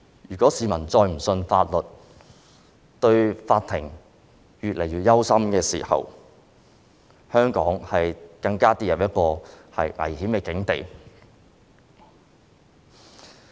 如果市民再也不相信法律，並且對法庭感到越來越憂心，香港便會跌入一個更危險的境地。